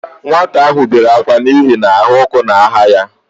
Nwata ahụ bere ákwá n'ihi na ahụ ọkụ na-ahụ ya